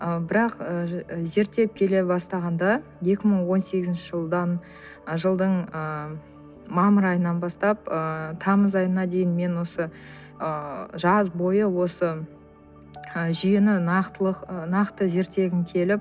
ы бірақ ы зерттеп келе бастағанда екі мың он сегізінші ы жылдың ыыы мамыр айынан бастап ыыы тамыз айына дейін мен осы ы жаз бойы осы ы жүйені ы нақты зерттегім келіп